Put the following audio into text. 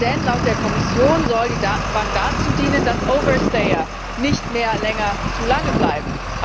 Denn laut der Kommission soll die Datenbank dazu dienen, dass nicht mehr länger zu lange bleiben.